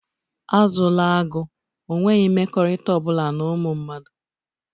Azụla agụ, ọ nweghị mmekọrịta ọ bụla na ụmụ mmadụ!